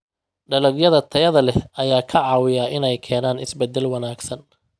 Dalagyada tayada leh ayaa ka caawiya inay keenaan isbeddel wanaagsan.